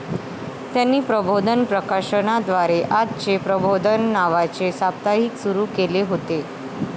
त्यांनी प्रबोधन प्रकाशनाद्वारे 'आजचे प्रबोधन' नावाचे साप्ताहिक सुरू केले होते.